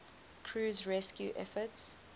crew's rescue efforts